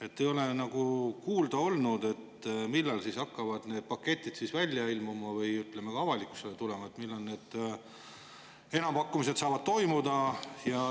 aga ma ei ole kuulnud kordagi, millal hakkavad need paketid välja ilmuma või avalikkusse tulema ja millal need enampakkumised saavad toimuda.